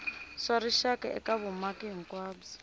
swa rixaka eka vumaki hinkwabyo